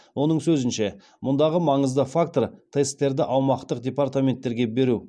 оның сөзінше мұндағы маңызды фактор тесттерді аумақтық департаменттерге беру